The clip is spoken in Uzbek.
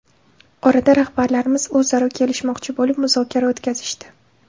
Orada rahbarlarimiz o‘zaro kelishmoqchi bo‘lib, muzokara o‘tkazishdi.